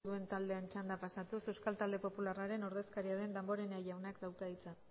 duen taldearen txandara pasatuz euskal talde popularraren ordezkaria den damborenea jaunak dauka hitza